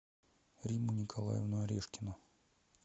римму николаевну орешкину